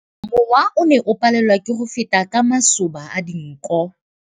Mowa o ne o palelwa ke go feta ka masoba a dinko.